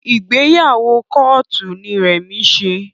Ìgbéyàwó kóòtù ni Remi ṣe